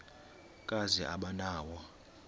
kazi aba nawo